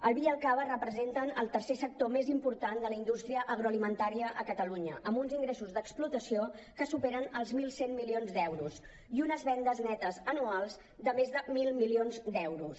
el vi i el cava representen el tercer sector més important de la indústria agroalimentària a catalunya amb uns ingressos d’explotació que superen els mil cent milions d’euros i unes vendes netes anuals de més de mil milions d’euros